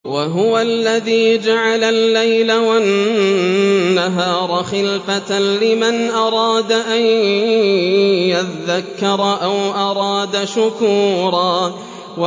وَهُوَ الَّذِي جَعَلَ اللَّيْلَ وَالنَّهَارَ خِلْفَةً لِّمَنْ أَرَادَ أَن يَذَّكَّرَ أَوْ أَرَادَ شُكُورًا